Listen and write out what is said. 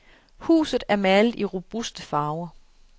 Huset er malet i robuste farver.